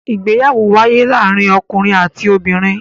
Ìgbéyàwó ń wáyé láàárín ọkùnrin àti obìnrin.